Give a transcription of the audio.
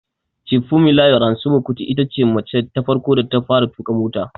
Chief Fumilayo Ransome Kuti itace mace ta farko da ta fara tuƙa mota